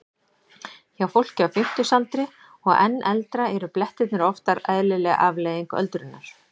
Hjá fólki á fimmtugsaldri og enn eldra eru blettirnir oftar eðlileg afleiðing öldrunar.